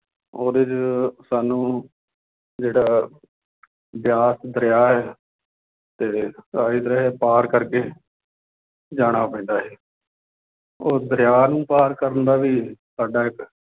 ਉਹਦੇ ਚ ਸਾਨੂੰ ਜਿਹੜਾ ਬਿਆਸ ਦਰਿਆ ਹੈ ਤੇ ਆਹੀ ਦਰਿਆ ਪਾਰ ਕਰਕੇ ਜਾਣਾ ਪੈਂਦਾ ਸੀ ਉਹ ਦਰਿਆ ਨੂੰ ਪਾਰ ਕਰਨ ਦਾ ਵੀ ਸਾਡਾ ਇੱਕ